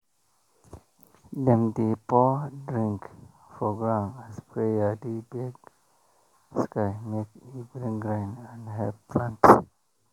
dem dey pour drink for ground as prayer dey beg sky make e bring rain and help plants